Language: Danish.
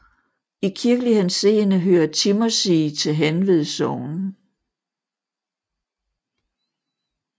I kirkelig henseende hører Timmersig til Hanved Sogn